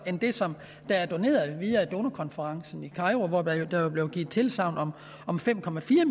end det som er doneret via donorkonferencen i kairo hvor der jo blev givet tilsagn om fem